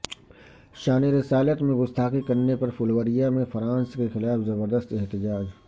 شان رسالت میں گستاخی کرنے پر پھلوریا میں فرانس کے خلاف زبردست احتجاج